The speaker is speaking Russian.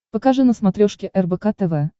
покажи на смотрешке рбк тв